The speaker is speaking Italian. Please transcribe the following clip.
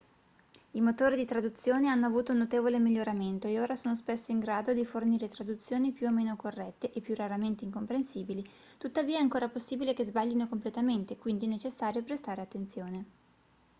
i motori di traduzione hanno avuto un notevole miglioramento e ora sono spesso in grado di fornire traduzioni più o meno corrette e più raramente incomprensibili tuttavia è ancora possibile che sbaglino completamente quindi è necessario prestare attenzione